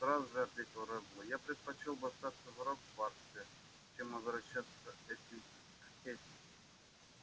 нет сразу же ответил реддл я предпочёл бы остаться в хогвартсе чем возвращаться к этим к этим